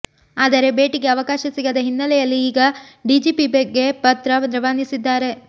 ಆದರೆ ಭೇಟಿಗೆ ಅವಕಾಶ ಸಿಗದ ಹಿನ್ನೆಲೆಯಲ್ಲಿ ಈಗ ಡಿಜಿಪಿಗೆ ಪತ್ರ ರವಾನಿಸಿದ್ದಾರೆ